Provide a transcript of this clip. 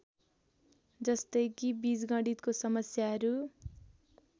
जस्तै कि बीजगणितको समस्याहरू